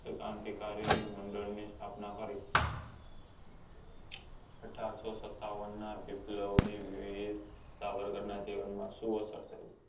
કે ક્રાંતિકારી મંડળ ની સ્થાપના કરી અઢારસો સતાવન ના વીર સાવરકર નાં જીવન માં શું અસર પડી